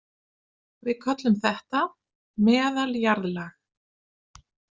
Við köllum þetta meðaljarðlag.